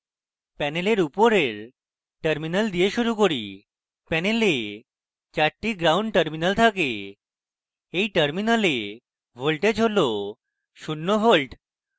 panel উপরের terminals দিয়ে শুরু করি panel চারটি ground terminals থাকে এই terminals voltage has শূন্য volt 0 volt